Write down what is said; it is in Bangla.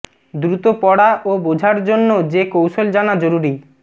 দ্রুত পড়া ও বোঝার জন্য যে কৌশল জানা জরুরি